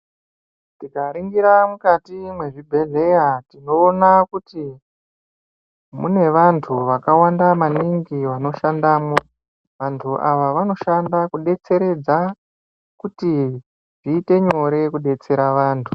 Tikaningira mukati mezvibhedhlera tinoona kuti mune vantu vakawanda maningi vanoshandamo vantu ava vanoshanda kudetseredza kuti zviite nyore kudetsera vantu.